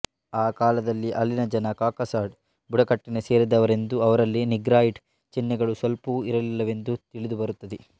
ಆ ಕಾಲದಲ್ಲಿ ಅಲ್ಲಿನ ಜನ ಕಾಕಸಾಡ್ ಬುಡಕಟ್ಟಿಗೆ ಸೇರಿದ್ದವರೆಂದೂ ಅವರಲ್ಲಿ ನೀಗ್ರಾಯಿಡ್ ಚಿಹ್ನೆಗಳು ಸ್ವಲ್ಪವೂ ಇರಲ್ಲಿಲ್ಲವೆಂದೂ ತಿಳಿದುಬರುತ್ತದೆ